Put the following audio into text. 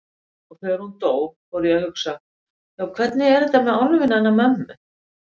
Og þegar hún dó fór ég að hugsa: Já, hvernig er með álfinn hennar mömmu?